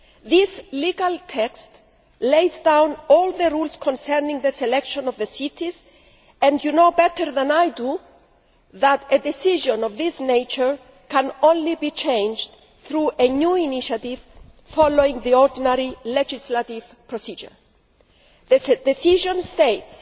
This legal text lays down all the rules concerning the selection of the cities, and you know better than I do that a decision of this nature can be changed only through a new initiative following the ordinary legislative procedure. The decision states